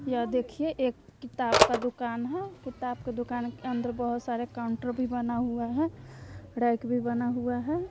यह देखिए एक किताब का दुकान है किताब के दुकान के अंदर बहोत सारे कॉन्टर भी बना हुआ है रैक भी बना हुआ है।